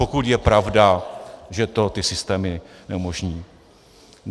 Pokud je pravda, že to ty systémy neumožní.